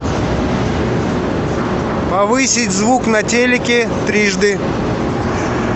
повысить звук на телике трижды